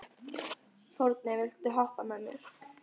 Forni, viltu hoppa með mér?